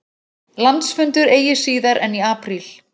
Landsfundur eigi síðar en í apríl